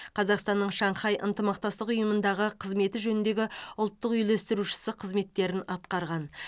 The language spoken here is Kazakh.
қазақстанның шанхай ынтымақтастық ұйымындағы қызметі жөніндегі ұлттық үйлестірушісі қызметтерін атқарған